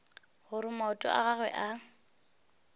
gore maoto a gagwe a